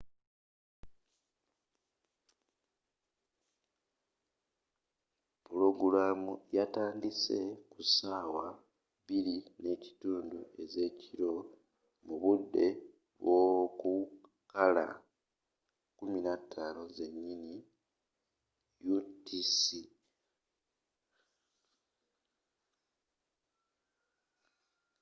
pulogulaamu yatandise ku ssaawa 8:30 ezekiro mu budde bwokukaala 15.00 utc